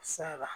Sara